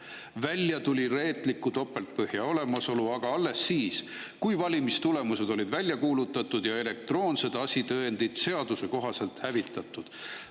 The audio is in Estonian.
Välja tuli reetliku topeltpõhja olemasolu aga alles siis, kui valimistulemused olid välja kuulutatud ja elektroonsed asitõendid seaduse kohaselt hävitatud.